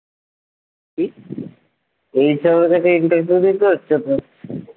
কি? এই হিসাবে তোকে interview দিতে হচ্ছে তো